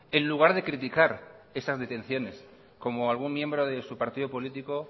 en lugar de criticar esas detenciones como algún miembro de su partido político